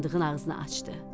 Sandığın ağzını açdı.